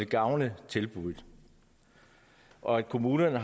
gavn af tilbuddet og at kommunerne